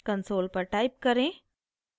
console पर type करें: